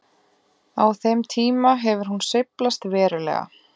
Á þeim tíma hefur hún sveiflast verulega.